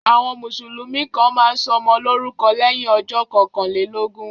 Àwọn Mùsùlùmí kàn máa ń sọmọ lórúkọ lẹ́yìn ọjọ́ kọkànlélógún